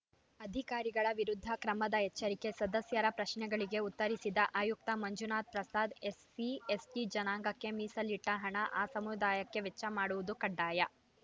ಅಧಿಕಾರಿಗಳ ವಿರುದ್ಧ ಕ್ರಮದ ಎಚ್ಚರಿಕೆ ಸದಸ್ಯರ ಪ್ರಶ್ನೆಗಳಿಗೆ ಉತ್ತರಿಸಿದ ಆಯುಕ್ತ ಮಂಜುನಾಥ್‌ ಪ್ರಸಾದ್‌ ಎಸ್ಸಿಎಸ್ಟಿಜನಾಂಗಕ್ಕೆ ಮೀಸಲಿಟ್ಟಹಣ ಆ ಸಮುದಾಯಕ್ಕೆ ವೆಚ್ಚ ಮಾಡುವುದು ಕಡ್ಡಾಯ